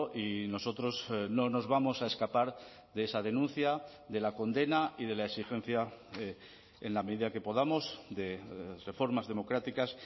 y nosotros no nos vamos a escapar de esa denuncia de la condena y de la exigencia en la medida que podamos de reformas democráticas